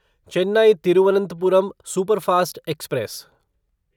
Chennai Thiruvananthapuram superfast express